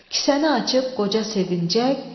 Kisəni açıb qoca sevincək.